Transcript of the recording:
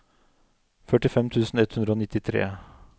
førtifem tusen ett hundre og nittitre